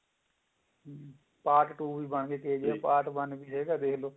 part two ਵੀ ਬਣਗਿਆ part one ਵੀ ਜਿਹੜਾ ਦੇਖਲੋ